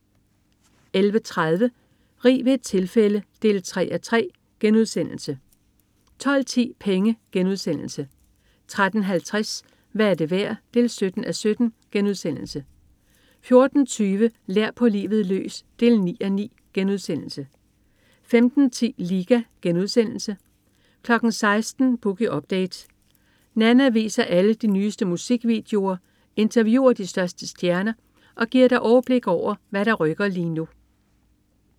11.30 Rig ved et tilfælde 3:3* 12.10 Penge* 13.50 Hvad er det værd? 17:17* 14.20 Lær på livet løs 9:9* 15.10 Liga* 16.00 Boogie Update. Nanna viser alle de nyeste musikvideoer, interviewer de største stjerner og giver dig overblik over, hvad der rykker lige nu